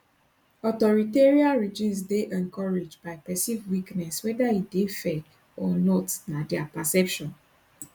authoritarian regimes dey encouraged by perceived weakness weda e dey fair or not na dia perception